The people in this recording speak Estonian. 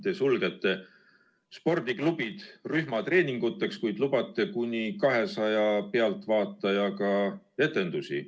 Te sulgete spordiklubid rühmatreeninguteks, kuid lubate kuni 200 pealtvaatajaga etendusi.